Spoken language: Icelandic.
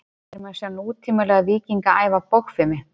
Hér má sjá nútímalega víkinga æfa bogfimi.